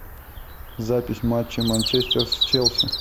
запись матча манчестер с челси